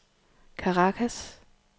Caracas